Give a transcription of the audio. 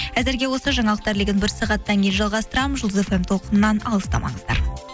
әзірге осы жаңалықтар легін бір сағаттан кейін жалғастырамын жұлдыз эф эм толқынынан алыстамаңыздар